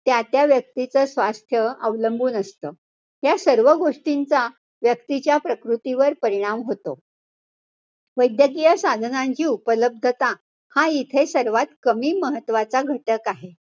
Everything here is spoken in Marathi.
त्या त्या व्यक्तीच स्वास्थ्य अवलंबून असतं. या सर्व गोष्टींचा व्यक्तीच्या प्रकृतीवर परिणाम होतो. वैद्यकीय साधनांची उपलब्धता हा इथे सर्वात कमी महत्वाचा घटक आहे.